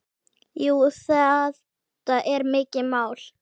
Jú, þetta er mikið mál.